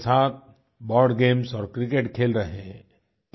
बच्चों के साथ बोर्ड गेम्स और क्रिकेट खेल रहे हैं